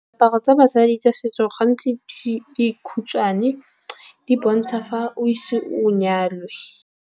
Diaparo tsa basadi tsa setso gantsi di khutshwane di bontsha fa o ise o nyalwe.